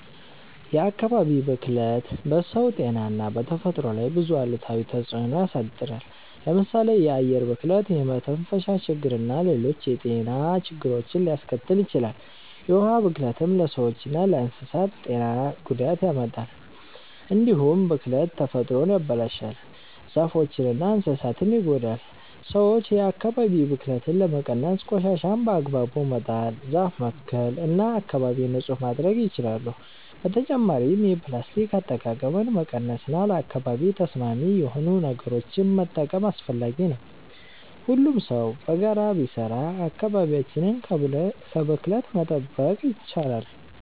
የአካባቢ ብክለት በሰው ጤና እና በተፈጥሮ ላይ ብዙ አሉታዊ ተጽዕኖ ያሳድራል። ለምሳሌ የአየር ብክለት የመተንፈሻ ችግርና ሌሎች የጤና ችግሮችን ሊያስከትል ይችላል። የውሃ ብክለትም ለሰዎችና ለእንስሳት ጤና ጉዳት ያመጣል። እንዲሁም ብክለት ተፈጥሮን ያበላሻል፣ ዛፎችንና እንስሳትን ይጎዳል። ሰዎች የአካባቢ ብክለትን ለመቀነስ ቆሻሻን በአግባቡ መጣል፣ ዛፍ መትከል እና አካባቢን ንጹህ ማድረግ ይችላሉ። በተጨማሪም የፕላስቲክ አጠቃቀምን መቀነስ እና ለአካባቢ ተስማሚ የሆኑ ነገሮችን መጠቀም አስፈላጊ ነው። ሁሉም ሰው በጋራ ቢሰራ አካባቢያችንን ከብክለት መጠበቅ ይቻላል።